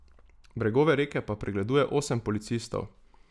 Bregove reke pa pregleduje osem policistov.